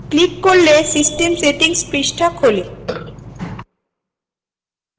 click করলে system settings পৃষ্ঠা খোলে